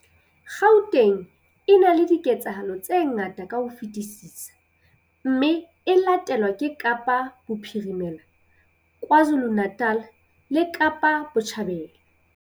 Gauteng e na le diketsahalo tse ngata ka ho fetisisa mme e latelwa ke Kapa Bophirimela, KwaZuluNatal le Kapa Botjhabela.